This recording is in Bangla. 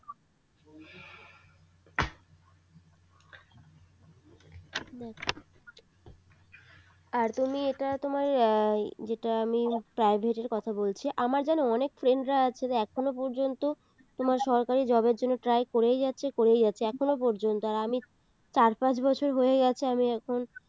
আর তুমি এটা তোমার যেটা আমি private এর কথা বলছি আমার জানো অনেক friend রা আছে যারা এখনো পর্যন্ত তোমার সরকারী job এর জন্য try করেই যাচ্ছে করেই যাচ্ছে এখনো পর্যন্ত আর আমি চার পাঁচ বছর হয়ে গেছে আমি এখন